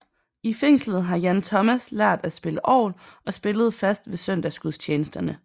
I fængslet har Jan Thomas lært at spille orgel og spillede fast ved søndagsgudstjenesterne